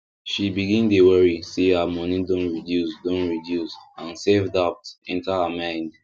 she begin dey worry say her money don reduce don reduce and selfdoubt enter her mind